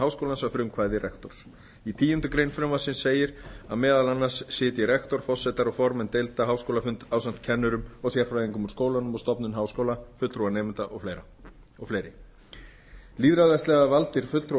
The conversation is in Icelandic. háskólans að frumkvæði rektors í tíundu greinar frumvarpsins segir að meðal annarra sitji rektor forsetar og formenn deilda háskólafund ásamt kennurum og sérfræðingum úr skólum og stofnunum háskóla fulltrúum nemenda og fleiri lýðræðislega valdir fulltrúar